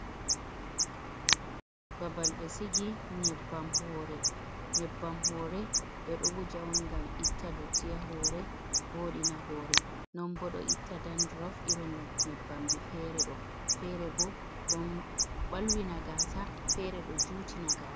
Babal ɓe sigi nyebbam hoore, nyebbam hoore ɓe ɗo wuja on ngam itta dotti haa hoore, vo'itina hoore, non ɓo ɗo itta danduruf, irum nyebbamji fere ɗo, fere ɓo ɗon ɓalwi na gaasa fere ɗo juuti na gaasa.